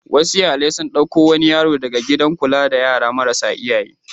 Wasu iyalai sun ɗauko wani yaro daga gidan kula da yara marasa iyaye.